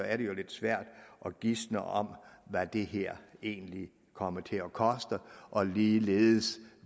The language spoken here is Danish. er det jo lidt svært at gisne om hvad det her egentlig kommer til at koste og ligeledes